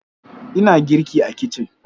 Ina girki a kicin.